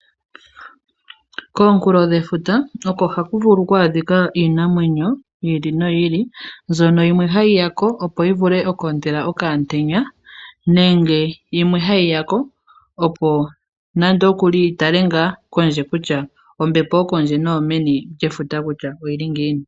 Koonkulo dhefuta, oko haku vulu oku adhika iinayi ili noyi ili, mbyono yimwe ha yi ya ko, opo yi vule oku ontela okaantenya , nenge yimwe ha yi ya ko, opo nandookuli yi tale ngaa kondje kutya ombepo yokondje noyomeni lyefuta kutya oyi li ngiini.